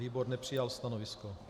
Výbor nepřijal stanovisko.